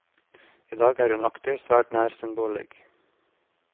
I dag er hun aktiv svært nær sin bolig.